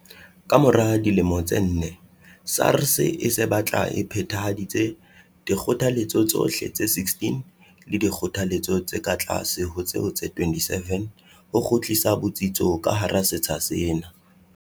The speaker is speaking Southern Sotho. Ka mora dilemo tse nne, SARS e se batla e phethahaditse dikgothaletso tsohle tse 16 le dikgothaletso tse ka tlase ho tseo tse 27 ho kgutlisa botsitso ka hara setsha sena.